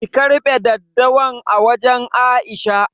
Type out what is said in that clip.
ki karbe daddawan a wajan Aisha.